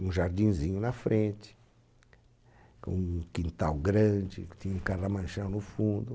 Um jardinzinho na frente, um quintal grande, tinha um carramanchão no fundo.